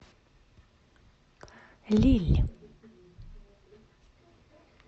лилль